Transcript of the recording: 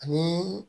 Ani